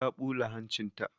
Ta ɓula hancin ta.